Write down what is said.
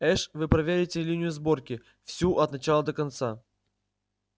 эш вы проверите линию сборки всю от начала до конца